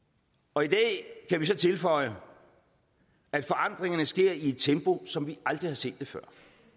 og i dag kan vi så tilføje at forandringerne sker i et tempo som vi aldrig har set det før